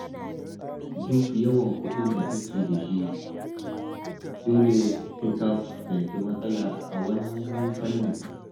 Duk yawan kuɗin da kake da shi, dole sai ka fuskanci matsala a wani fannin.